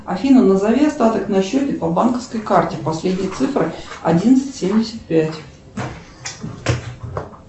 афина назови остаток на счете по банковской карте последние цифры одиннадцать семьдесят пять